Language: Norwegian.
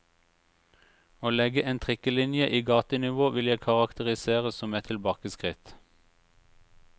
Å legge en trikkelinje i gatenivå vil jeg karakterisere som et tilbakeskritt.